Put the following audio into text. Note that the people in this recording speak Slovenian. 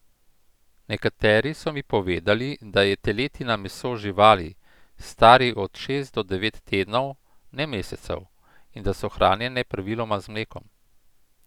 Nekateri so mi povedali, da je teletina meso živali, starih od šest do devet tednov, ne mesecev, in da so hranjene praviloma z mlekom.